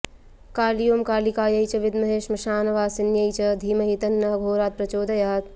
काली ॐ कालिकायै च विद्महे श्मशानवासिन्यै च धीमहि तन्न अघोरा प्रचोदयात्